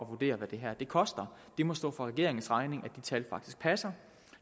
vurdere hvad det her koster det må stå for regeringens regning at de tal faktisk passer